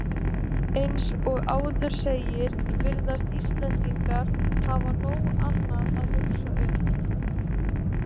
Eins og áður segir virðast Íslendingar hafa nóg annað að hugsa um.